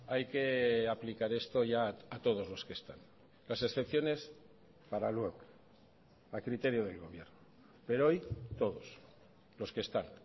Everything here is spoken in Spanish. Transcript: hay que aplicar esto ya a todos los que están las excepciones para luego a criterio del gobierno pero hoy todos los que están